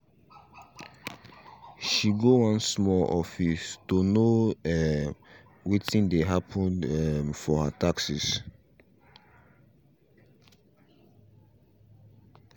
she go one small office to know um wetin dey happen um for her taxes